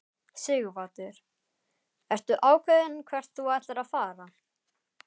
Sighvatur: Ertu ákveðinn hvert þú ætlar að fara?